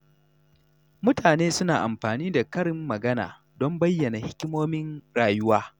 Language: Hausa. Mutane suna amfani da karin magana don bayyana hikimomin rayuwa.